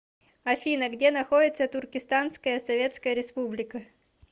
афина где находится туркестанская советская республика